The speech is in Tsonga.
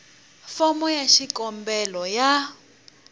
fomo ya xikombelo ya